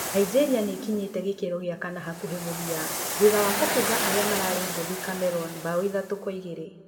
Nigeria nĩĩkinyĩte gĩkĩro gĩa kana hakuhĩ mũthia thutha wa kũbunga arĩa mararĩ ngũthĩ Cameroon mbaũ ithatũ kwa igĩrĩ